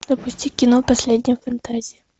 запусти кино последняя фантазия